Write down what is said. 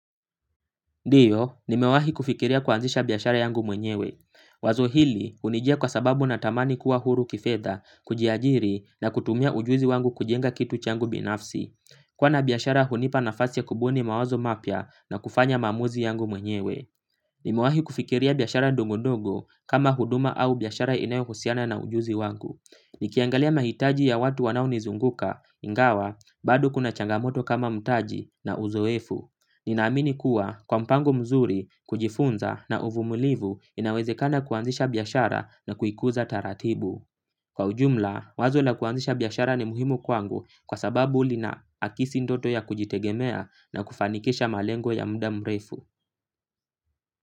Ndiyo, nimewahi kufikiria kuanzisha biashara yangu mwenyewe. Wazo hili, hunijia kwa sababu natamani kuwa huru kifedha, kujiajiri, na kutumia ujuzi wangu kujenga kitu changu binafsi. Kuwa na biashara hunipa nafasi ya kubuni mawazo mapya na kufanya maamuzi yangu mwenyewe. Nimewahi kufikiria biashara ndogondogo kama huduma au biashara inayohusiana na ujuzi wangu. Nikiangalia mahitaji ya watu wanaonizunguka, ingawa, bado kuna changamoto kama mtaji na uzoefu. Ninaamini kuwa kwa mpango mzuri, kujifunza na uvumilivu inawezekana kuanzisha biashara na kuikuza taratibu. Kwa ujumla, wazo la kuanzisha biashara ni muhimu kwangu kwa sababu linaakisi ndoto ya kujitegemea na kufanikisha malengo ya muda mrefu.